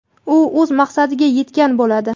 u o‘z maqsadiga yetgan bo‘ladi.